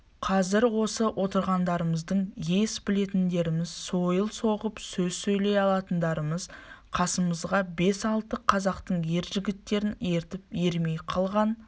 қазір осы отырғандарымыздың ес білетіндеріміз сойыл соғып сөз сөйлей алатындарымыз қасымызға бес-алты қазақтың ер жігіттерін ертіп ермей қалған